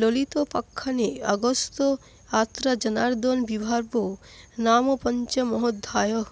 ললিতোপাখ্যানে অগস্ত্যয়াত্রাজনার্দনাবির্ভাবো নাম পঞ্চমোঽধ্যায়ঃ